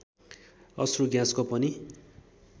अश्रु ग्याँसको पनि